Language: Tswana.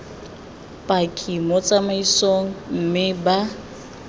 paki mo tsamaisong mme ba